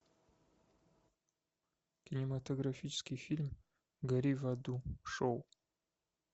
кинематографический фильм гори в аду шоу